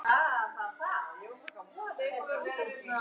Lóu við borðið.